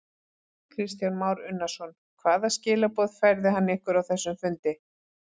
Kristján Már Unnarsson: Hvaða skilaboð færði hann ykkur á þessum fundi?